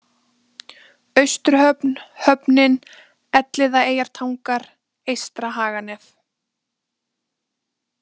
Austurhöfn, Höfnin, Elliðaeyjartangar, Eystra-Haganef